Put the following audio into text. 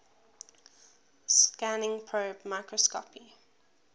scanning probe microscopy